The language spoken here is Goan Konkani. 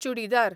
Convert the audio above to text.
चुडिदार